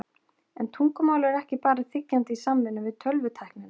En tungumálið er ekki bara þiggjandi í samvinnu við tölvutæknina.